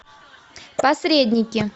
посредники